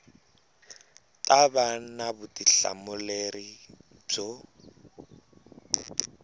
ta va na vutihlamuleri byo